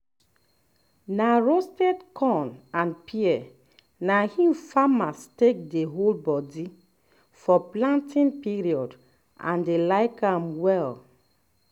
na roasted corn and pear na im farmers take dey hold body for planting period and dey like um am well